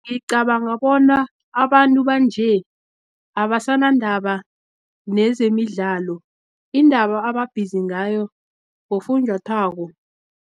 Ngicabanga bona abantu banje, abasana ndaba nezemidlalo, indaba ebabhizi ngayo bofunjathwako.